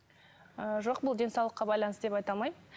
ы жоқ бұл денсаулыққа байланысты деп айта алмаймын